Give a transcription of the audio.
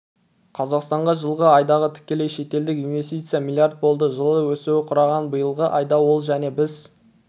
қазақстанға жылғы айдағы тікелей шетелдік инвестиция млрд болды жылы өсуі құраған биылғы айда ол және біз